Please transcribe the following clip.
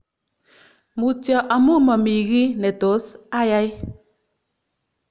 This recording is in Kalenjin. Mutyo amu mami kiy ne tos ayai.'